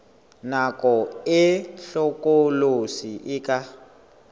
nako e hlokolosi e ka